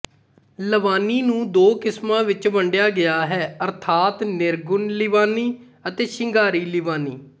ਲਵਾਨੀ ਨੂੰ ਦੋ ਕਿਸਮਾਂ ਵਿੱਚ ਵੰਡਿਆ ਗਿਆ ਹੈ ਅਰਥਾਤ ਨਿਰਗੁਣ ਲਵਾਨੀ ਅਤੇ ਸ਼ਿੰਗਾਰੀ ਲਵਾਨੀ